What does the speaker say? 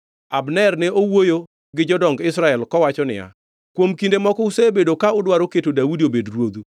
Abner ne owuoyo gi jodong Israel kowacho niya, “Kuom kinde moko usebedo ka udwaro keto Daudi obed ruodhu.”